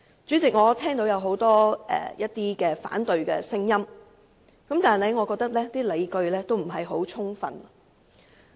主席，我聽到很多反對聲音，但我認為所持理據均有欠充分。